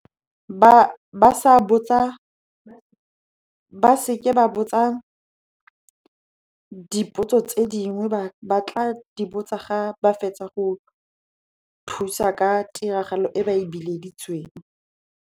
Ba seke ba botsa dipotso tse dingwe, ba tla di botsa ga ba fetsa go thusa ka tiragalo e ba e bileditsweng.